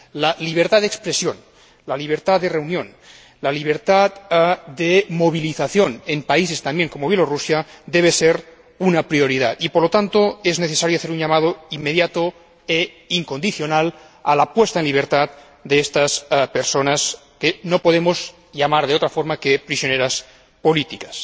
La libertad de expresión, la libertad de reunión y la libertad de movilización en países como Belarús deben ser una prioridad y, por lo tanto, es necesario hacer un llamamiento inmediato e incondicional a la puesta en libertad de estas personas, que no podemos llamar de otra forma que prisioneras políticas.